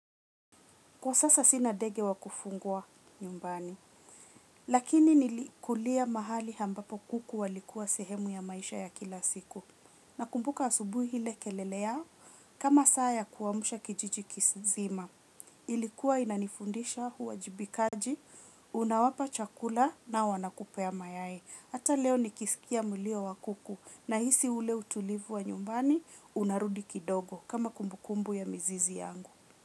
Kwa sasa sina ndege wa kufugwa nyumbani, lakini nilikulia mahali ambapo kuku walikuwa sehemu ya maisha ya kila siku. Nakumbuka asubuhi ile kelele yao kama saa ya kuamsha kijiji nzima. Ilikuwa inanifundisha uwajibikaji, unawapa chakula na wanakupea mayai. Hata leo nikisikia mlio wa kuku nahisi ule utulivu wa nyumbani, unarudi kidogo kama kumbukumbu ya mizizi yangu.